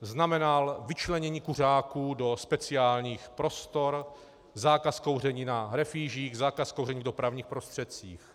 znamenal vyčlenění kuřáků do speciálních prostor, zákaz kouření na refýžích, zákaz kouření v dopravních prostředcích.